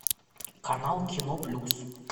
канал кино плюс